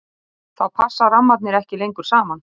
þá passa rammarnir ekki lengur saman